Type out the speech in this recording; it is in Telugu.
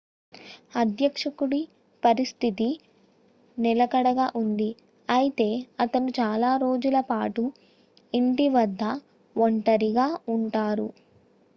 అధ్యక్షుడి పరిస్థితి నిలకడగా ఉంది అయితే అతను చాలా రోజుల పాటు ఇంటి వద్ద ఒంటరిగా ఉంటారు